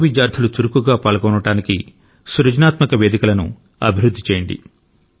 పూర్వ విద్యార్థులు చురుకుగా పాల్గొనడానికి సృజనాత్మక వేదికలను అభివృద్ధి చేయండి